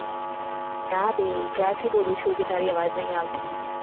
ના બે ક્યાર થી બોલું છું કે તારી અવાજ નઈ આવતી